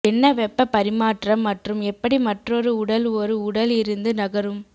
என்ன வெப்ப பரிமாற்றம் மற்றும் எப்படி மற்றொரு உடல் ஒரு உடல் இருந்து நகரும்